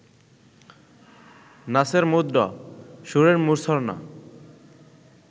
নাচের মুদ্রা, সুরের মূর্ছনা